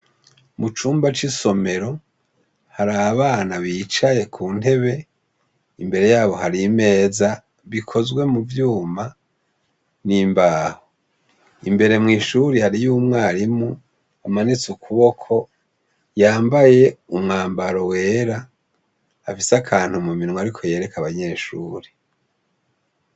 Mu cumba c'isomero hari abana bicaye ku ntebe imbere yabo hari imeza bikozwe mu vyuma n'imbaho. Imbere mw'ishure hariyo umwarimu. Umwana amanitse ukuboko yambaye umwambaro wera afise akantu mu minwe ariko yereka abanyeshure.